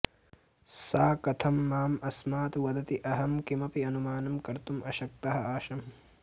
सा कथं माम् अस्मात् वदति अहं किमपि अनुमानं कर्तुम् अशक्तः आसम्